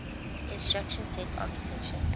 instruction set architecture